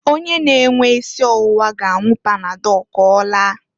Onye na-enwe isi ọwụwa ga-anwụ panadọl k'ọlaa.